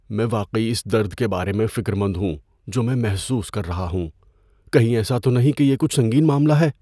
میں واقعی اس درد کے بارے میں فکر مند ہوں جو میں محسوس کر رہا ہوں۔ کہیں ایسا تو نہیں کہ یہ کچھ سنگین معاملہ ہے؟